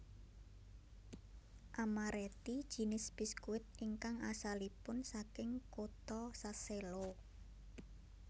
Amaretti jinis biskuit ingkang asalipun saking kota Sassello